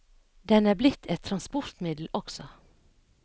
Den er blitt et transportmiddel også.